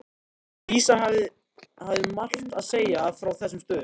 Dísa hafði margt að segja frá þessum stöðum.